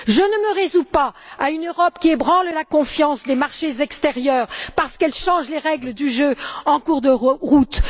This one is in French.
Je ne me résous pas à une Europe qui ébranle la confiance des marchés extérieurs parce qu'elle change les règles du jeu en cours de route.